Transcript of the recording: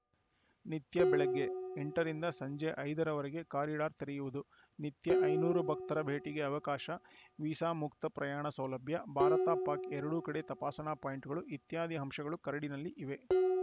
ನಿತ್ಯ ಬೆಳಗ್ಗೆ ಎಂಟ ರಿಂದ ಸಂಜೆ ಐದ ರವರೆಗೆ ಕಾರಿಡಾರ್‌ ತೆರೆಯುವುದು ನಿತ್ಯ ಐನೂರು ಭಕ್ತರ ಭೇಟಿಗೆ ಅವಕಾಶ ವೀಸಾ ಮುಕ್ತ ಪ್ರಯಾಣ ಸೌಲಭ್ಯ ಭಾರತಪಾಕ್‌ ಎರಡೂ ಕಡೆ ತಪಾಸಣಾ ಪಾಯಿಂಟ್‌ಗಳು ಇತ್ಯಾದಿ ಅಂಶಗಳು ಕರಡಿನಲ್ಲಿ ಇವೆ